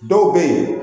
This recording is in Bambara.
Dɔw bɛ yen